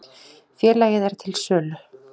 Félagið er til sölu.